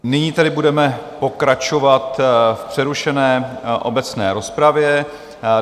Nyní tedy budeme pokračovat v přerušené obecné rozpravě.